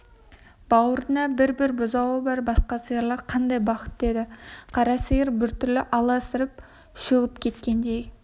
бауырында бір-бір бұзауы бар басқа сиырлар қандай бақытты еді қара сиыр бір түрлі аласарып шөгіп кеткендей